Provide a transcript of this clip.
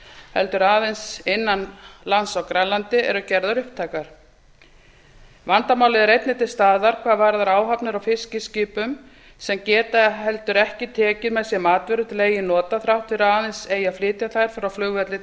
heldur aðeins innan lands á grænlandi eru gerðar upptækar vandamálið er einnig til staðar hvað varðar áhafnir fiskiskipa sem geta ekki heldur tekið með sér matvörur til eigin nota þrátt fyrir að aðeins eigi að flytja þær frá flugvelli